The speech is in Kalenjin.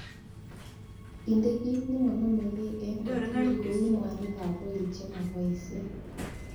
Indee kit nemonomegee en got tugul kou mwakin ab oil chemoboishe.